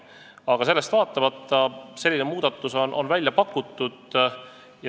Aga sellele vaatamata on selline muudatus välja pakutud.